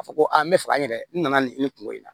A fɔ ko a n bɛ fɛ an yɛrɛ n nana nin kungo in na